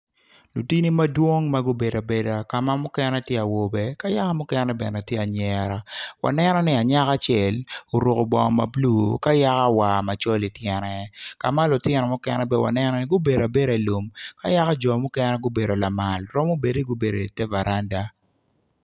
Lutini madwong ma gubedo abeda ka ma mukene tiya awobe ka yaka mukene bene tiya anyera wanenoni anyaka acel oruku bongo ma bulu ka yako war macol ityene ka ma lutino mukene bene wanenoni gubedo abeda ilum ka yaka ju mukene gubedo lamal romo bedo ni gubedo i te varanda